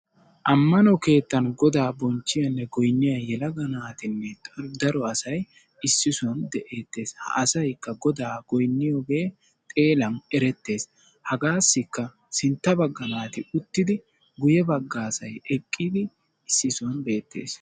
Ammano keettan godaa bonchchiyane goyniya yelaga naatine daro asay issi sohuwan de'idi de'ees. Ha asaykka godaa goyniyoge xeelan eretees. Hagaassika sintta baggaa naati uttidi guyebaggaa asay eqqidi issi sohuwan beettees.